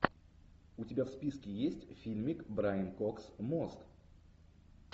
у тебя в списке есть фильмик брайан кокс мост